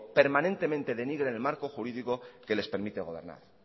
permanentemente denigren el marco jurídico que les permite gobernar